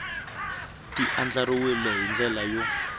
ti andlariwile hi ndlela yo